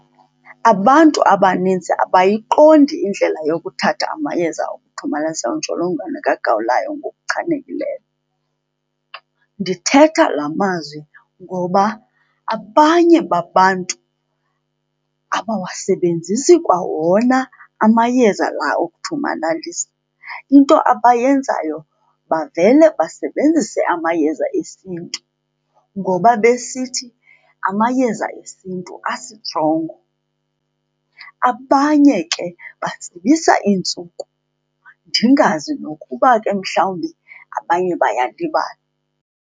Abantu abaninzi abayiqondi indlela yokuthatha amayeza okuthomalalisa intsholongwane kagawulayo ngokuchanekileyo. Ndithetha la mazwi ngoba abanye babantu abawasebenzisi kwa wona amayeza lawo okuthomalalisa, into abayenzayo bavele basebenzise amayeza esintu ngoba besithi amayeza esintu asitrongo. Abanye ke batsibisa iintsuku, ndingazi nokuba ke mhlawumbi abanye bayalibala.